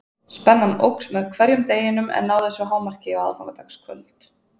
Spennan óx með hverjum deginum en náði svo hámarki á aðfangadagskvöld.